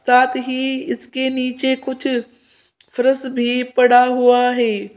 साथ ही इसके नीचे कुछ फर्श भी पड़ा हुआ है।